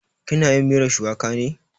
Ki na yin miyar shuwaka ne?